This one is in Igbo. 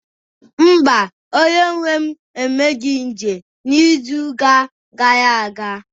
mba, onye nwe m emeghị njem izuụka gara aga